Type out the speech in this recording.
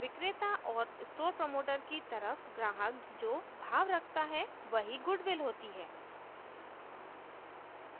विक्रेता और store promoter की तरफ ग्राहक जो भाव रखता है वही गुडविल होती है